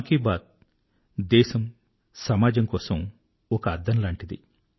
మన్ కీ బాత్ దేశము సమాజము కోసము ఒక అద్దము లాంటిది